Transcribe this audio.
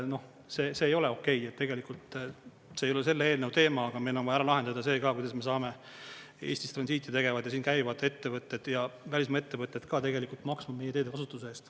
Noh, see ei ole okei, tegelikult see ei ole selle eelnõu teema, aga meil on vaja ära lahendada see ka, kuidas me saame Eestis transiiti tegevad ja siin käivad ettevõtted ja välismaa ettevõtted ka tegelikult maksma meie teede kasutuse eest.